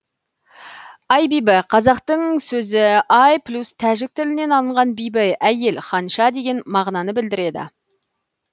аи бибі қазақтың сөзі ай плюс тәжік тілінен алынған биби әйел ханша деген мағынаны білдіреді